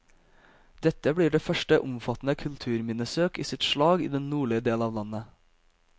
Dette blir det første omfattende kulturminnesøk i sitt slag i den nordlige del av landet.